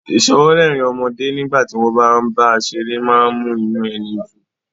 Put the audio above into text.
Ìsọwọ́rẹ́rìn ọmọdé nígbà tí wọ́n bá ń bá a ṣeré má ń mú inú ẹni dùn